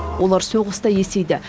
олар соғыста есейді